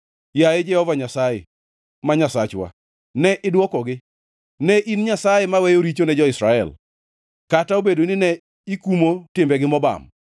Yaye Jehova Nyasaye ma Nyasachwa, ne idwokogi; ne in Nyasaye maweyo richo ne jo-Israel, kata obedo ni ne ikumo timbegi mobam.